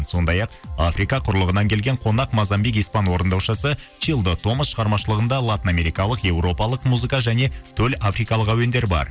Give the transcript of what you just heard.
сондай ақ африка құрлығынан келген қонақ мазамбик испан орындаушысы чилдо томас шығармашылығында латын америкалық европалық музыка және төл африкалық әуендер бар